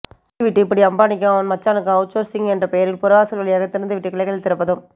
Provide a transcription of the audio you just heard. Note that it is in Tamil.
சொல்லிவிட்டு இப்படி அம்பானிக்கும் அவன் மச்சானுக்கும் அவுச் சோர்சிங் என்ற பெயரில் புறவாசல் வழியாக திறந்துவிட்டு கிளைகள் திறப்பதும்